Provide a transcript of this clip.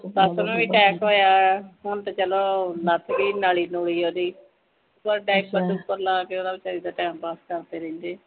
ਸੱਸ ਨੂੰ ਵੀ attack ਹੋਇਆ ਹੁਣ ਤੇ ਚਲੋ ਲੱਥ ਗਈ ਨਾਲੀ ਨੁਲੀ ਓਹਦੀ ਪਰ diaper ਡੁਪਰ ਲਾ ਕੇ ਓਦਾਂ ਬਚਾਰੀ ਦਾ time pass ਕਰਦੇ ਰਹਿੰਦੇ ਆ